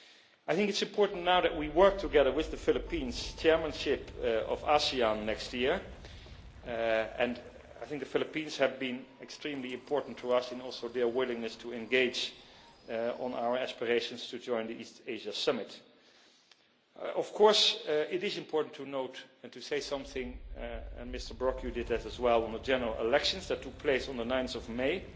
I think it is important now that we work together with the Philippines chairmanship of ASEAN next year, and I think the Philippines have been extremely important to us in their willingness to engage on our aspirations to join the East Asia Summit. Of course, it is important to note and to say something, and Mr Brok you did this as well in the general elections that took place on 9